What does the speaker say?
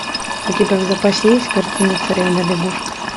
у тебя в запасе есть картина царевна лягушка